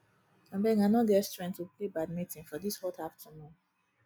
abeg i no get strength to play badminton for dis hot afternoon